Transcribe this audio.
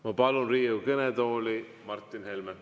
Ma palun Riigikogu kõnetooli Martin Helme.